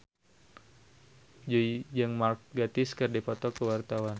Jui jeung Mark Gatiss keur dipoto ku wartawan